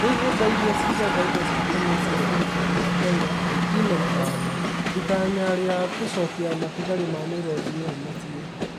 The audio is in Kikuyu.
Rĩu nyũmba iria ciigaga indo cia tene cia thirikari ya Kenya ĩna ĩtanya . Ĩtanya ria gũcokia matigari ma mĩruthi ĩyo mũciĩ.